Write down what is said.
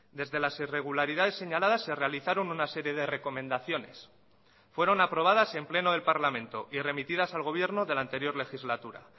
desde las irregularidades señaladas se realizaron una serie de recomendaciones fueron aprobadas en pleno del parlamento y remitidas al gobierno de la anterior legislatura